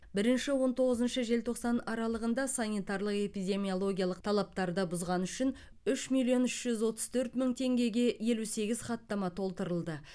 бірінші он тоғызыншы желтоқсан аралығында санитарлық эпидемиологиялық талаптарды бұзғаны үшін үш миллион үш жүз отыз төрт мың теңгеге елу сегіз хаттама толтырылды